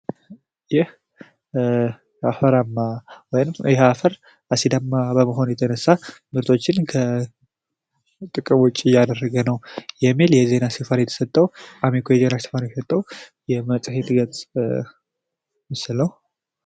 ይህ አፈር አሲዳማ በመሆኑ ምርቶችን ከጥቅም ውጭ እያደረገ ነው የሚል የአሚኮ ዘገባ የተዘገበበት መጽሄት ነው።